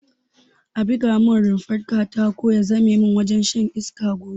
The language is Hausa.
A buga mun rumfar katako ya zame mini wurin shan iska gobe